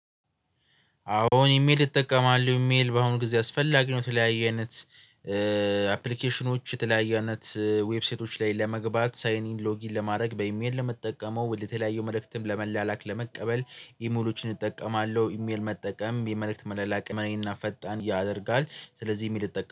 አዎ ኢሜል እጠቀማለሁ ኢሜል በአሁን ጊዜ አስፈላጊ ነው። የተለያየ አይነት አፕሊኬሽኖች የተለያዩ አይነት ዌብሳይቶች ላይ ለመግባት ሳይኒን ሎጊን ለማድረግ በኢሜል ነው እምጠቀመው። ወደ ተለያዩ መልእክትም ለመላላክ ለመቀበል ኢሜሎችን እጠቀማለሁ። ኢሜል መጠቀም የመልእክት መላላክ አቅምን ፈጣን ያደርጋል። ስለዚህ ኢሚኤል እጠቀማለሁ